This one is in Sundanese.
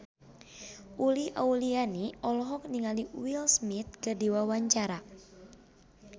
Uli Auliani olohok ningali Will Smith keur diwawancara